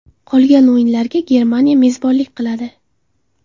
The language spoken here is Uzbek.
Qolgan o‘yinlarga Germaniya mezbonlik qiladi.